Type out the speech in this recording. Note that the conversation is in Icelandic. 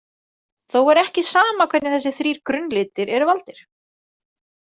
Þó er ekki sama hvernig þessir þrír „grunnlitir“ eru valdir.